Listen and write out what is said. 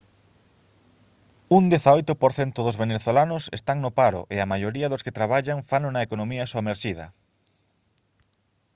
un 18 % dos venezolanos están no paro e a maioría dos que traballan fano na economía somerxida